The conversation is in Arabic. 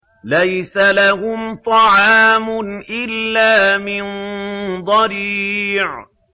لَّيْسَ لَهُمْ طَعَامٌ إِلَّا مِن ضَرِيعٍ